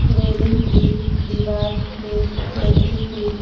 railing भी दीवार में लगी हुई--